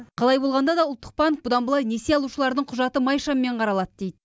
қалай болғанда да ұлттық банк бұдан былай несие алушылардың құжаты майшаммен қаралады дейді